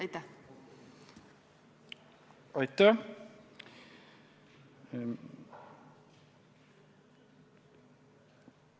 Aitäh!